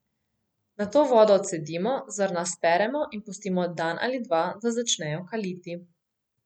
Nato vodo odcedimo, zrna speremo in pustimo dan ali dva, da začnejo kaliti.